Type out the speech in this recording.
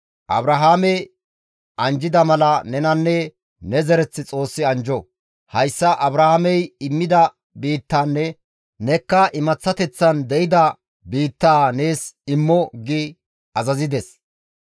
Abrahaame anjjida mala nenanne ne zereth Xoossi anjjo; hayssa Abrahaamey immida biittanne nekka imaththateththan de7ida biittaa nees immo» azazides.